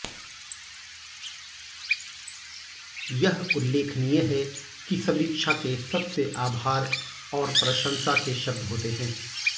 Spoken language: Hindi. यह उल्लेखनीय है कि समीक्षा के सबसे आभार और प्रशंसा के शब्द होते हैं